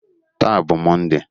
Taa bụ Mọnde.